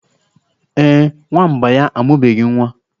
Ee, Nwamba ya amụbeghi nwa.